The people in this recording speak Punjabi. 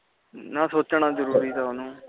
ਨਾ ਸੋਚਣਾ ਤਾ ਓਹਨੇ ਸੀ